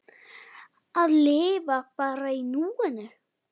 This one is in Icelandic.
Að lifa bara í núinu!